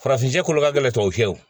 Farafin kolo ka gɛlɛn tɔw fiyɛ